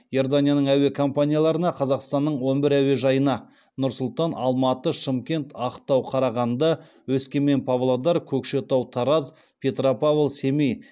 иорданияның әуе компанияларына қазақстанның он бір әуежайына